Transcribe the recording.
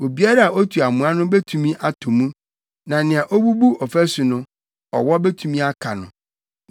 Obiara a otu amoa no betumi atɔ mu; na nea obubu ɔfasu no, ɔwɔ betumi aka no.